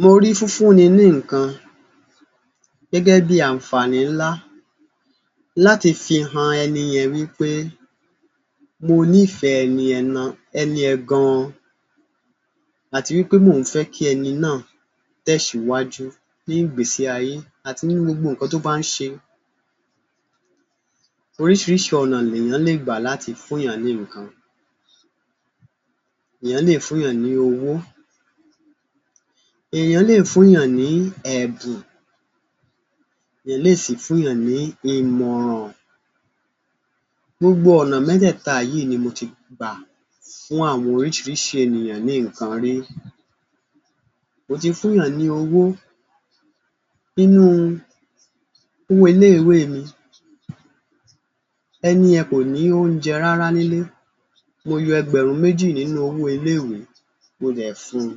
Mo rí fúnfúnni ní nǹkan gẹ́gẹ́ bíi àǹfààní ńlá láti fi han ẹni yẹn wí pé mo nífẹ̀ẹ́ ẹni yẹn na, ẹni yẹn gan-an, àti wí pé mò ń fẹ́ kí ẹni náà tẹ́síwájú ní ìgbésí ayé àti nínú gbogbo nǹkan tó bá ń ṣe. Oríṣìíríṣìí ọ̀nà lèèyàn lè gbà láti fún-ùn-yàn ní nǹkan. Èèyàn lè fún-ùn-yàn ní owó, èèyàn lè fún-ùn-yàn ní ẹ̀bùn, èèyàn lè sì fún-ùn-yàn ní ìmọ̀ràn. Gbogbo ọ̀nà mẹ́tẹ̀ẹ̀ta yìí ni mo ti gbà fún àwọn oríṣìíríṣìí ènìyàn ní nǹkan rí. Mo ti fún-ùn-yàn ní owó, nínú owó ilé-ìwé mi, ẹni yẹn kò ní oúnjẹ rárá nílé, mo yọ ẹgbẹ̀rún méjì nínú owó ilé-ìwé mo dẹ̀ fún un.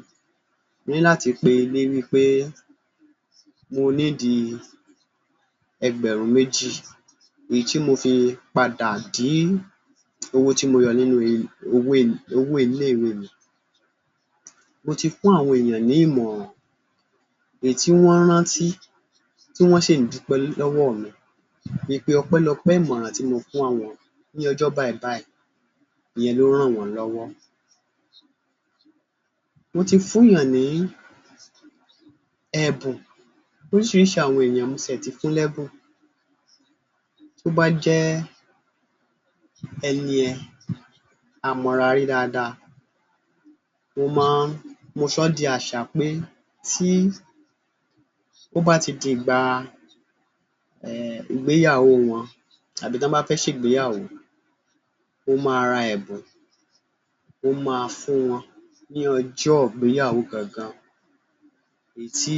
Mo ní láti pe ilé wí pé mo need ẹgbẹ̀rún méjì èyí tí mo fi padà dí owó tí mo yọ nínú owó i owó ilé-ìwé mi. Mo ti fún àwọn ènìyàn ní ìmọ̀ràn èyí tí wọ́n rántí tí wọ́n sì ń dúpẹ́ lọ́wọ́ mi wí pé ọpẹ́lọpẹ́ ìmọ̀ràn tí mo fún àwọn ní ọjọ́ báìbáì, ìyẹn ló ran àwọn lọ́wọ́. Mo ti fún-ùn-yàn ní ẹ̀bùn, oríṣìíríṣìí àwọn èèyàn ni mo sì ẹ̀ ti fún lẹ́bùn. Bó bá jẹ́ ẹni yẹn a mọra rí dáadáa, mo máa ń, mo sọ ọ́ di àṣà pé tí ó bá di dìgbà um ìgbéyàwó wọn tàbí tán bá fẹ́ ṣègbéyàwó, mo ma ra ẹ̀bùn, mo ma fún wọn ní ọjọ́ ìgbéyàwó gangan èyí tí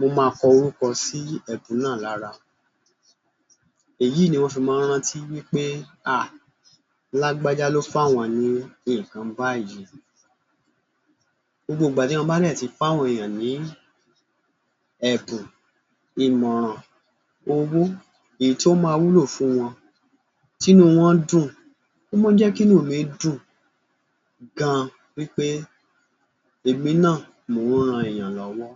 mo ma kọ orúkọ sí ẹ̀bùn náà lára. Èyí ni wọ́n fi mọ́ ń rántí wí pé à lágbájá ló fún àwọn ní nǹkan báyìí. Gbogbo ìgbà tí mo bá dẹ̀ ti fún àwọn èèyàn ní ẹ̀bùn, ìmọ̀ràn, owó, èyí tó máa wúlò fún wọn, tínú wọn dùn, ó máa ń jẹ́ kínú mi dùn gan-an wí pé èmi náà mò ń ran èèyàn lọ́wọ́.